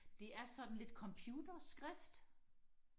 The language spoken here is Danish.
det er sådan lidt computer skrift